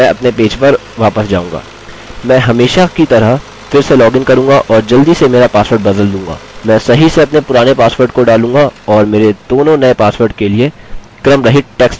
मैं हमेशा की तरह फिर से लॉगिन करूँगा और जल्दी से मेरा पासवर्ड बदल दूँगा मैं सही से अपने पुराने पासवर्ड को डालूँगा और मेरे दोनों नये पासवर्ड के लिए क्रमरहित टेक्स्ट डालूँगा